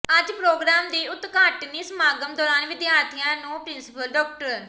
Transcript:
ਅੱਜ ਪ੍ਰੋਗਰਾਮ ਦੇ ਉਦਘਾਟਨੀ ਸਮਾਗਮ ਦੌਰਾਨ ਵਿਦਿਆਰਥੀਆਂ ਨੂੰ ਪਿੰ੍ਰਸੀਪਲ ਡਾ